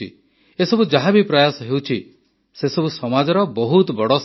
ଏସବୁ ଯାହାବି ପ୍ରୟାସ ହେଉଛି ସେସବୁ ସମାଜର ବହୁତ ବଡ଼ ସେବା